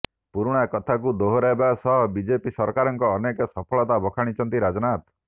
ପୁରୁଣା କଥାକୁ ଦୋହରାଇବା ସହ ବିଜେପି ସରକାରଙ୍କ ଅନେକ ସଫଳତା ବଖାଣିଛନ୍ତି ରାଜନାଥ